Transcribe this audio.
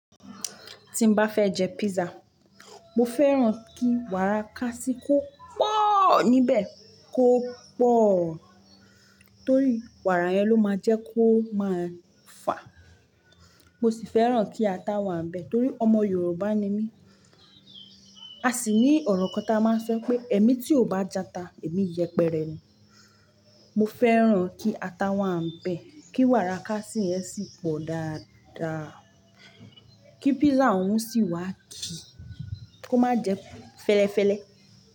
Tí n bá fẹ́ jẹ pizza, mo fẹ́ràn kí wàrà kasi kó pọ̀ọ́ níbẹ̀ kó pọ̀ọ́, torí wàrà yẹn ló máa jẹ́ kó máa fà. Mo sì fẹ́ràn kí ata wà níbẹ̀ torí ọmọ Yorùbá ni mí. A sì ní ọ̀rọ̀ kan tí a máa ń sọ pé "ẹmi tí ó bá jata, èmi yẹpẹrẹ ni". Mo fẹ́ràn kí ata wà níbẹ̀, kí wàrà kasi yẹn sì pọ̀ dáadáa, kí pizza òun sì wà ki kó má jẹ fẹ́lẹ́fẹ́lẹ́